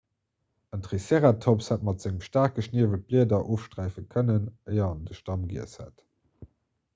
en triceratops hätt mat sengem staarke schniewel d'blieder ofsträife kënnen éier en de stamm giess hätt